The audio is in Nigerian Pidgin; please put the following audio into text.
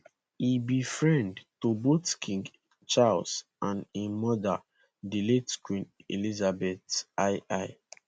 e be friend to both king charles and im mother di late queen elizabeth ii